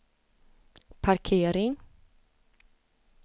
parkering